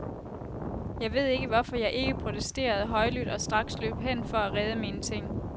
Jeg ved ikke, hvorfor jeg ikke protesterede højlydt og straks løb hen for at redde mine ting.